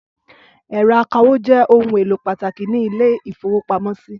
Ẹ̀rọ akawó jẹ́ ohun-èlò pàtàkì ní ilé-ìfowópamọ́sí.